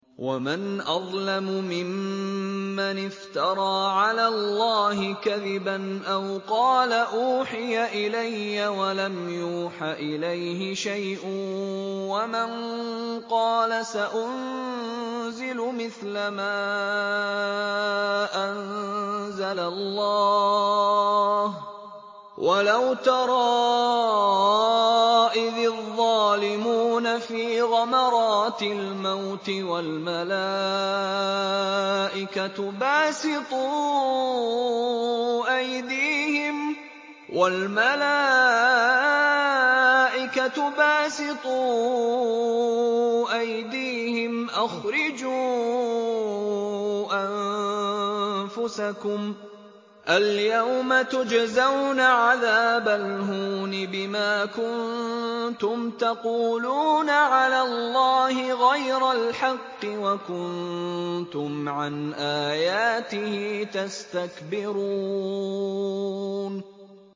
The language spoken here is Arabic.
وَمَنْ أَظْلَمُ مِمَّنِ افْتَرَىٰ عَلَى اللَّهِ كَذِبًا أَوْ قَالَ أُوحِيَ إِلَيَّ وَلَمْ يُوحَ إِلَيْهِ شَيْءٌ وَمَن قَالَ سَأُنزِلُ مِثْلَ مَا أَنزَلَ اللَّهُ ۗ وَلَوْ تَرَىٰ إِذِ الظَّالِمُونَ فِي غَمَرَاتِ الْمَوْتِ وَالْمَلَائِكَةُ بَاسِطُو أَيْدِيهِمْ أَخْرِجُوا أَنفُسَكُمُ ۖ الْيَوْمَ تُجْزَوْنَ عَذَابَ الْهُونِ بِمَا كُنتُمْ تَقُولُونَ عَلَى اللَّهِ غَيْرَ الْحَقِّ وَكُنتُمْ عَنْ آيَاتِهِ تَسْتَكْبِرُونَ